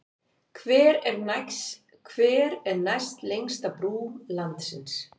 Hver er næstlengsta brú landsins?